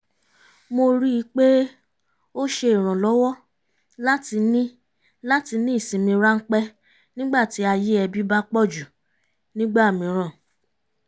mo rí i pé ó ṣe ìrànlọ́wọ́ láti ní láti ní ìsinmi ráńpẹ́ nígbà tí ayé ẹbí bá pọ̀jù nígbà mìíràn